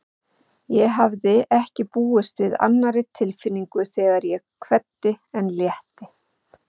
Ég hafði ekki búist við annarri tilfinningu þegar ég kveddi en létti.